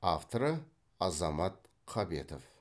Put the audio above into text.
авторы азамат қабетов